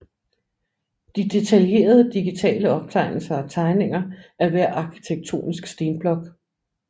De detaljerede digitale optegnelser og tegninger af hver arkitektonisk stenblok